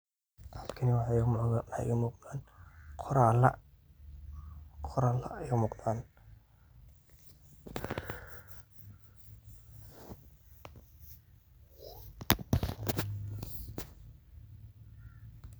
Halkani way u muqdan qorala ,qorala ay u muqdan